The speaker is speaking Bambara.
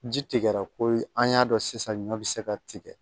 Ji tigɛra ko ye an y'a dɔn sisan ɲɔ bɛ se ka tigɛ